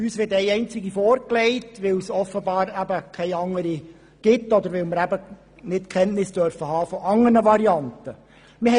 uns wird eine einzige vorgelegt, weil es offenbar keine anderen gibt oder wir keine Kenntnis von anderen Varianten haben dürfen.